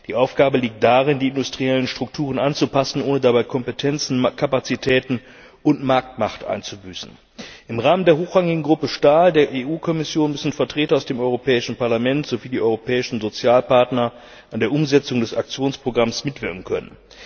Die Aufgabe liegt darin, die industriellen Strukturen anzupassen, ohne dabei Kompetenzen, Kapazitäten und Marktmacht einzubüßen. Im Rahmen der Hochrangigen Gruppe Stahl der Kommission müssen Vertreter aus dem Europäischen Parlament sowie die europäischen Sozialpartner an der Umsetzung des Aktionsprogramms mitwirken können.